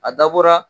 A dabɔra